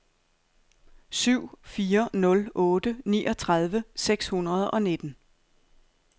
syv fire nul otte niogtredive seks hundrede og nitten